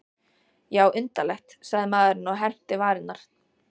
Já, undarlegt, sagði maðurinn og herpti varirnar.